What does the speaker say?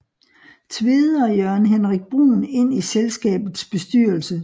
Tvede og Jørgen Henrik Bruhn ind i selskabets bestyrelse